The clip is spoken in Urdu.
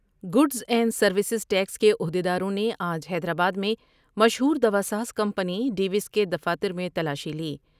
گوڈس اینڈ سرویس ٹیکس کے عہد یداروں نے آج حیدرآباد میں مشہور دواساز کمپنی ڈیوس کے دفاتر میں تلاشی لی ۔